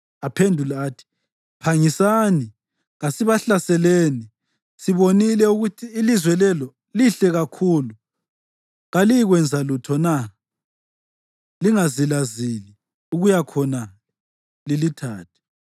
Aphendula athi, “Phangisani, kasibahlaseleni! Sibonile ukuthi ilizwe lelo lihle kakhulu. Kaliyikwenza lutho na? Lingazilazili ukuya khonale lilithathe.